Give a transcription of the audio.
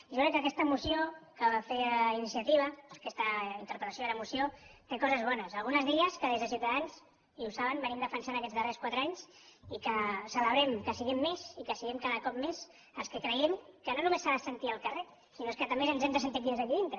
jo crec que aquesta moció que feia iniciativa aquesta interpel·lació i ara moció té coses bones algunes d’elles que des de ciutadans i ho saben venim defensant aquests darrers quatre anys i que celebrem que siguem més i que siguem cada cop més els que creiem que no només s’ha de sentir al carrer sinó que és que també ho hem de sentir aquí des d’aquí dintre